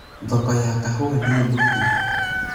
thoko ya kahũa nĩ thũku